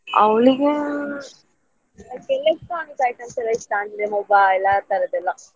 ಅವ್ಳಿಗೆ ಆ electronic items ಎಲ್ಲ ಇಷ್ಟ ಅಂದ್ರೆ mobile ಆ ತರದ್ದೆಲ್ಲ.